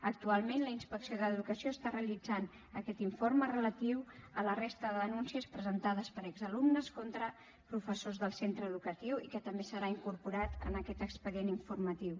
actualment la inspecció d’educació està realitzant aquest informe relatiu a la resta de denúncies presentades per exalumnes contra professors del centre educatiu i que també serà incorporat en aquest expedient informatiu